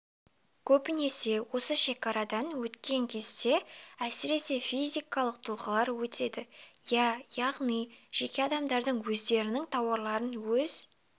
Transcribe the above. көбінесе осы шекарадан өткен кезде әсіресе физикалық тұлғалар өтеді иә яғни жеке адамдар өздерінің тауарларын өз